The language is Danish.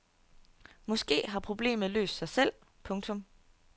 Måske har problemet løst sig selv. punktum